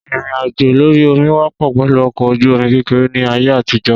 Ìrìn àjò lórí omi wọ́pọ̀ pẹ̀lú ọkọ̀ ojú omi kékeré ni ayé àtijó